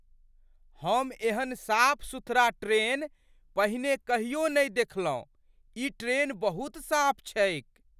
हम एहन साफ सुथरा ट्रेन पहिने कहियो नहि देखलहुँ! ई ट्रेन बहुत साफ छैक!